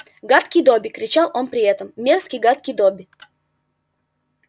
гадкий добби кричал он при этом мерзкий гадкий добби